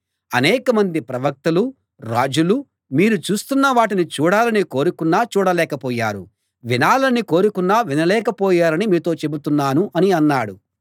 అనేకమంది ప్రవక్తలూ రాజులూ మీరు చూస్తున్న వాటిని చూడాలని కోరుకున్నా చూడలేకపోయారు వినాలని కోరుకున్నా వినలేక పోయారని మీతో చెబుతున్నాను అని అన్నాడు